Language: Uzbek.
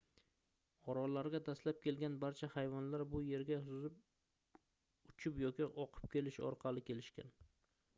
orollarga dastlab kelgan barcha hayvonlar bu yerga suzib uchib yoki oqib kelish orqali kelishgan